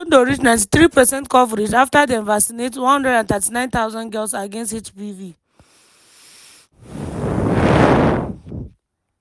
lesothodon reach93 percent coverage after dem vaccinate 139000 girls against hpv.